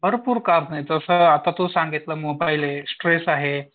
भरपूर कारण आहेत जस आता तू सांगितलं स्ट्रेस आहे.